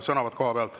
Sõnavõtt kohapealt.